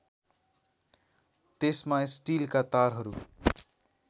त्यसमा स्टीलका तारहरू